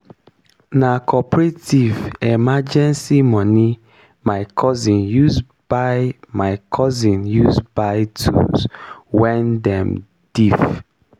na cooperative emenrgncy moni my cousin use buy cousin use buy tools wen dem diif.